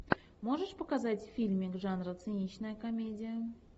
можешь показать фильмик жанра циничная комедия